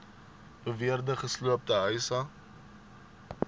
beweerde gesloopte huise